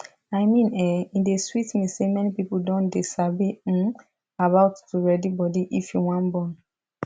i mean[um]e dey sweet me say many people don dey sabi um about to ready body if you wan born